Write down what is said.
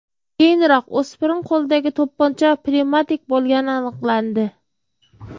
Keyinroq o‘spirin qo‘lidagi to‘pponcha pnevmatik bo‘lgani aniqlandi.